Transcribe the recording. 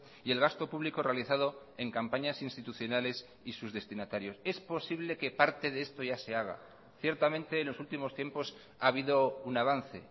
y el gasto público realizado en campañas institucionales y sus destinatarios es posible que parte de esto ya se haga ciertamente en los últimos tiempos ha habido un avance